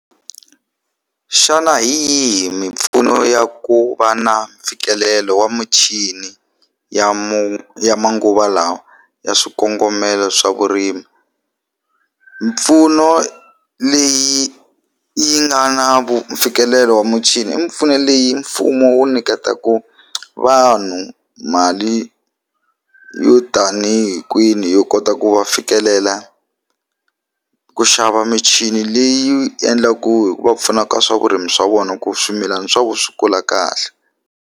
Xana hi yihi mimpfuno ya ku va na mfikelelo wa muchini ya ya manguva lawa ya swikongomelo swa vurimi mimpfuno leyi yi nga na mfikelelo wa muchini mimpfuno leyi mfumo wu niketaku vanhu mali yo tanihi kwini yo kota ku va fikelela ku xava michini leyi endlaku hikuva pfunaka swa vurimi swa vona ku swimilana swa vona swi kula kahle.